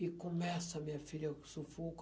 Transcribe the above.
E começa, minha filha, o sufoco.